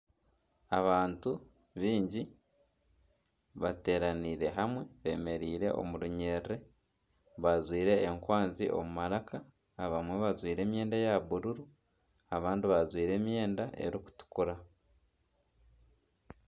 Abantu baingi bateeranire hamwe bemereire omu runyiriri bajwaire enkwanzi omu maraka, abamwe bajwaire emyenda eya bururu abandi bajwaire emyenda erikutukura.